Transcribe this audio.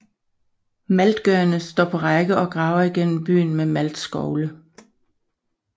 Maltgørerne står på række og graver igennem byggen med maltskovle